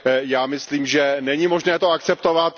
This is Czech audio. Já myslím, že není možné to akceptovat.